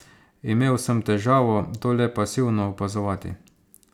Imel sem težavo, to le pasivno opazovati.